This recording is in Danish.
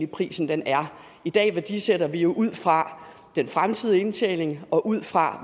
prisen er i dag værdisætter vi jo ud fra den fremtidige indtjening og ud fra